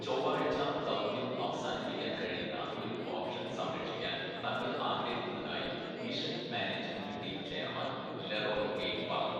"ചൊവ്വാഴ്ച ദൗത്യം അവസാനിപ്പിക്കാന്‍ കഴിയുന്ന ഒരു ഓപ്ഷന്‍ സംരക്ഷിക്കാന്‍ തങ്ങള്‍ ആഗ്രഹിക്കുന്നതായി mission‍ management team chairman‍ Leroy Cain‍ പറഞ്ഞു. "